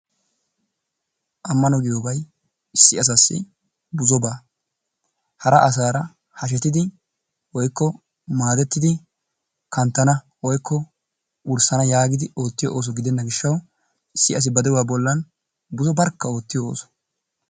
Ammano giyobayi issi asassi buzoba. Hara asaara hashetidi woykko maadettidi kanttana woykko wurssana yaagidi oottiyo ooso gidenna gishshawu issi asi ba de'uwa bollan buzo barkka oottiyo ooso.